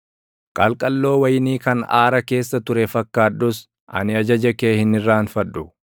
Qalqalloo wayinii kan aara keessa ture fakkaadhus ani ajaja kee hin irraanfadhu.